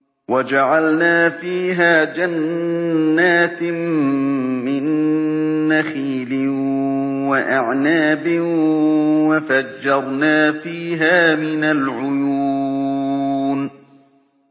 وَجَعَلْنَا فِيهَا جَنَّاتٍ مِّن نَّخِيلٍ وَأَعْنَابٍ وَفَجَّرْنَا فِيهَا مِنَ الْعُيُونِ